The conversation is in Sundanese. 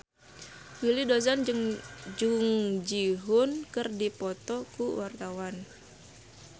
Willy Dozan jeung Jung Ji Hoon keur dipoto ku wartawan